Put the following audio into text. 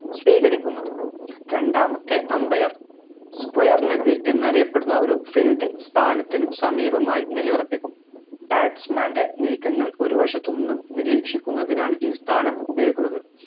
സ്വീകരിക്കുന്നത് രണ്ടാമത്തെ umbair squire leg എന്നറിയപ്പെടുന്ന ഒര് fielding സ്ഥാനത്തിന് സമീപമായി നിലയുറപ്പിക്കും batsman ൻറെ നീക്കങ്ങൾ ഒരു വശത്തുനിന്നും നിരീക്ഷിക്കുന്നതിനാണ് ഈ സ്ഥാനം ഉപയോഗിക്കുന്നത്